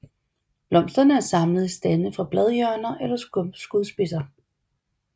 Blomsterne er samlet i stande fra bladhjørner eller skudspidser